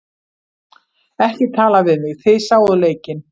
Ekki tala við mig, þið sáuð leikinn.